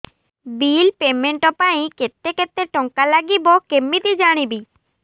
bill payment ପାଇଁ କେତେ କେତେ ଟଙ୍କା ଲାଗିବ କେମିତି ଜାଣିବି